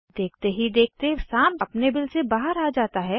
देखते ही देखते साँप अपने बिल के बाहर आ जाता है